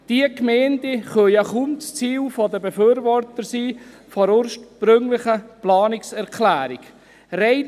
Diese Gemeinden können ja kaum das Ziel der Befürworter der ursprünglichen Planungserklärung sein.